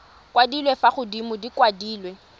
kwadilwe fa godimo di kwadilwe